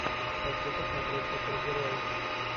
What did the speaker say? хочу посмотреть супергероев